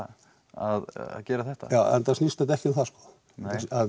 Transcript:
að gera þetta já enda snýst þetta ekki um það sko